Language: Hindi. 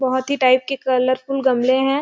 बहोत ही टाइप की कलरफुल गमले है।